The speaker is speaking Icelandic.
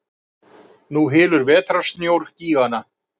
Nú hylur vetrarsnjór gígana.